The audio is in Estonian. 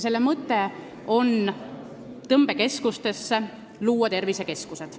Selle mõte on luua tõmbekeskustesse tervisekeskused.